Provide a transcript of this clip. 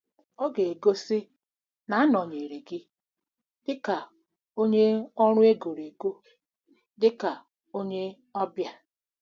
Ọ ga egosi na-anọnyere gị dị ka onye ọrụ e goro ego, dị ka onye ọbịa. ”